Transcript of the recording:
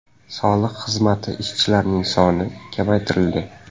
Soliq xizmati ishchilarining soni qisqartirildi.